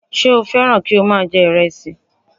Ṣé o fẹ́ràn kí o má a jẹ ìrẹsì